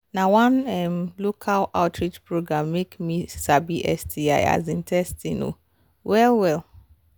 na one um local outreach program make me sabi sti um testing um well well